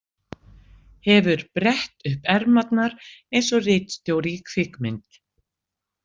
Hefur brett upp ermarnar eins og ritstjóri í kvikmynd.